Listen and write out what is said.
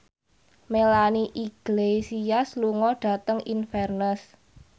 Melanie Iglesias lunga dhateng Inverness